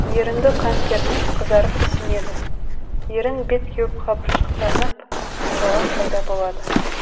ерінді қан кернеп қызарып ісінеді ерін бет кеуіп қабыршықтанып жалақ пайда болады